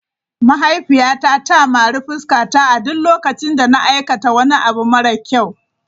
Mahaifiyata ta mari fuskata a duk lokacin da na aikata wani abu mara kyau.